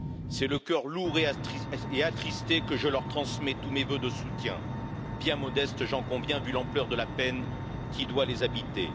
C'est le cœur lourd et attristé que je leur transmets tous mes vœux de soutien, bien modestes, j'en conviens, vu l'ampleur de la peine qui doit les habiter.